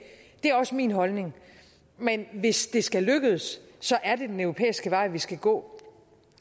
det er også min holdning men hvis det skal lykkes er det den europæiske vej vi skal gå